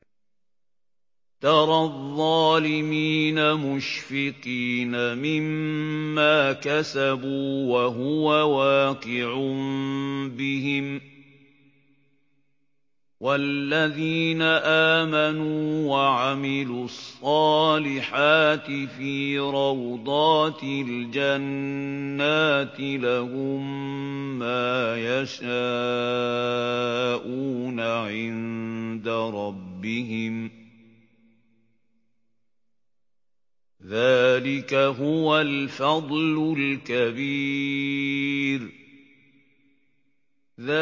تَرَى الظَّالِمِينَ مُشْفِقِينَ مِمَّا كَسَبُوا وَهُوَ وَاقِعٌ بِهِمْ ۗ وَالَّذِينَ آمَنُوا وَعَمِلُوا الصَّالِحَاتِ فِي رَوْضَاتِ الْجَنَّاتِ ۖ لَهُم مَّا يَشَاءُونَ عِندَ رَبِّهِمْ ۚ ذَٰلِكَ هُوَ الْفَضْلُ الْكَبِيرُ